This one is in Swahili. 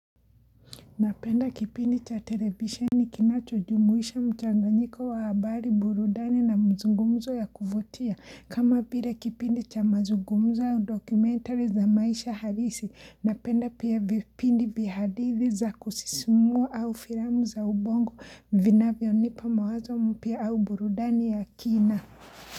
Napenda kipindi cha televisheni kinacho jumuisha mchanganyiko wa habari, burudani na mazungumzo ya kuvutia kama vile kipindi cha mazungumzo au documentary za maisha halisi, napenda pia vipindi vya hadithi za kusisimua au filamu za ubongo vinavyonipa mawazo mapya au burudani ya kina.